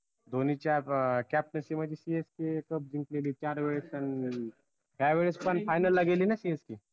धोनीच्या captaincy मध्ये CSKcup जिंकलेली चार वेळेस त्या वेळेस पन final ला गेली ना CSK